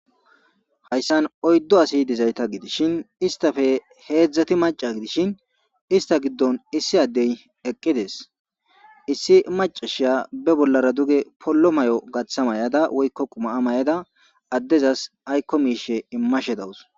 Hayssan oyddo asi dizayta gidishshin istafe heedzdzati maca gidishin ista giddon issi addey eqqides issi macashiya be bollara duge pollo may'o gaththa may'ada woykko qumaa may'ada addezas aykko miishe immashe dawus.